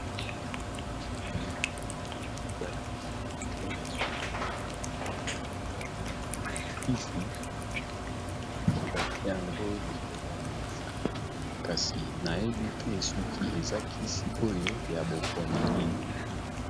Eye awa namoni balakisi biso lisusu mwa plakete ya kisi namoni batie yango likolo ya mesa kasi nayebi te soki eza kisi oyo ya bokono nini.